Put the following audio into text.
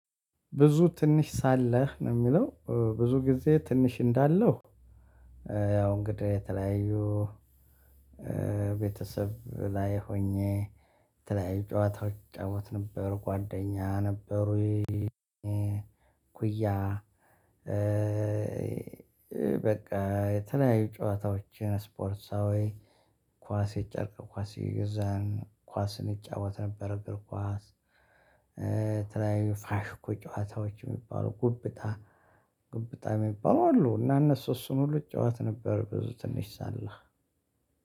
ብዙ ትንሽ ሳለህ ነው የሚለው ብዙ ጊዜ ትንሽ እንዳለው ያው እንግዳ የተለያዩ ቤተሰብ ላይ ሆኜ የተለያዩ ጨዋታዎች እጫወት ነበር ጓደኛ ነበሩኝ። ኩያ። በቃ የተለያዩ ጨዋታዎችን ስፖርታዊ ኳስ የጨረቅ ኳስ እየገዛን ኳስ እንጫወት ነበር እግር ኳስ። ትራይ ፋሽኩ ጨዋታዎች የሚባለው ጉብጣ ጉብጣ የሚባለው አሉ እና እነሱ እሱን ሁሉ እጫወት ነበር። ብዙ ትንሽ ሳለ።